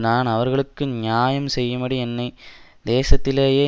நான் அவர்களுக்கு நியாயம் செய்யும்படி என்னை தேசத்திலே